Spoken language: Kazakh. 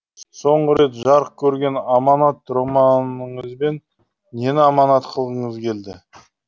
соңғы рет жарық көрген аманат романыңызбен нені аманат қылғыңыз келді